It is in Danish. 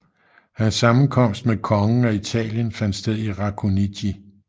Hans sammenkomst med kongen af Italien fandt sted i Racconigi